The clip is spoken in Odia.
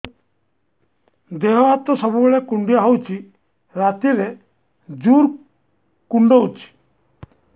ଦେହ ହାତ ସବୁବେଳେ କୁଣ୍ଡିଆ ହଉଚି ରାତିରେ ଜୁର୍ କୁଣ୍ଡଉଚି